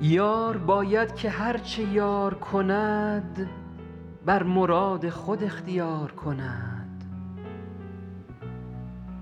یار باید که هر چه یار کند بر مراد خود اختیار کند